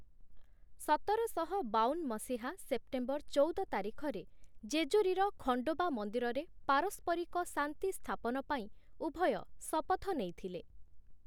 ସତରଶହ ବାବନ ମସିହା ସେପ୍ଟେମ୍ବର ଚଉଦ ତାରିଖରେ ଜେଜୁରୀର ଖଣ୍ଡୋବା ମନ୍ଦିରରେ ପାରସ୍ପରିକ ଶାନ୍ତି ସ୍ଥାପନପାଇଁ ଉଭୟ ଶପଥ ନେଇଥିଲେ ।